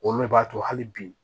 Olu le b'a to hali bi